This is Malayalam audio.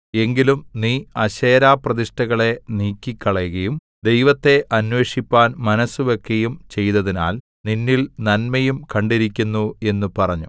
എങ്കിലും നീ അശേരാപ്രതിഷ്ഠകളെ നീക്കിക്കളകയും ദൈവത്തെ അന്വേഷിപ്പാൻ മനസ്സുവെക്കയും ചെയ്തതിനാൽ നിന്നിൽ നന്മയും കണ്ടിരിക്കുന്നു എന്ന് പറഞ്ഞു